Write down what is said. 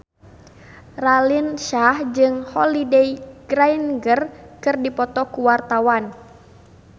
Raline Shah jeung Holliday Grainger keur dipoto ku wartawan